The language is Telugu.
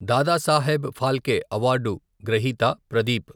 దాదాసాహెబ్ ఫాల్కే అవార్డు గ్రహీత ప్రదీప్.